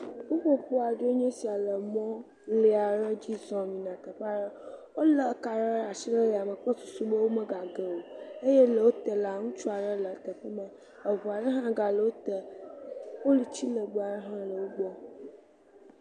Ƒuƒoƒo aɖee nye sia le mɔ lee aɖe dzi zɔm yina ɖe teƒe aɖe, wolé kaɖi aɖe le asi le ya me kple susu be womega ge o eye wo te la, ŋutsua aɖe le teƒe ma, eŋu aɖe hã gale wo te, poluti legbe aɖe hã gale wo gbɔ.